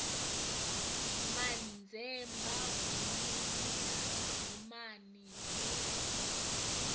manzemba buluni na dimani hu